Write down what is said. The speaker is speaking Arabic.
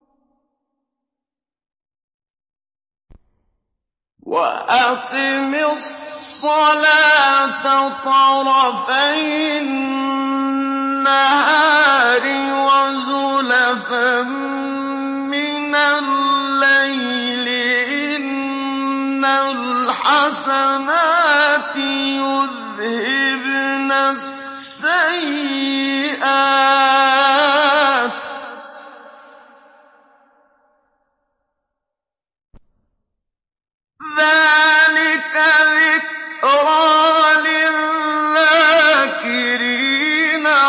وَأَقِمِ الصَّلَاةَ طَرَفَيِ النَّهَارِ وَزُلَفًا مِّنَ اللَّيْلِ ۚ إِنَّ الْحَسَنَاتِ يُذْهِبْنَ السَّيِّئَاتِ ۚ ذَٰلِكَ ذِكْرَىٰ لِلذَّاكِرِينَ